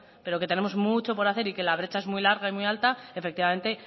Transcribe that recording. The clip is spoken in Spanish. pero que tenemos mucho que hacer y que la brecha es muy larga y muy alta y efectivamente